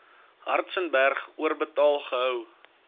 hartzenberg oorbetaal gehou